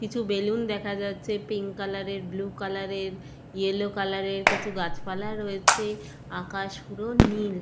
কিছু বেলুন দেখা যাচ্ছে পিঙ্ক কালার এর ব্লু কালার এর ইয়েলো কালার এর কিছু গাছপালা রয়েছে আকাশপুরো নীল।